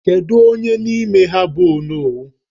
Kedu onye n'ime ha bụ onowu?